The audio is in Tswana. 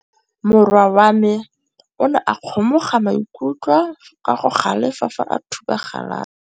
Morwa wa me o ne a kgomoga maikutlo ka go galefa fa a thuba galase.